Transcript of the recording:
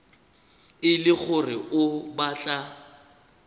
e le gore o batla